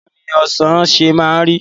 Bawoni Ọ̀sán ṣe máa ń rí?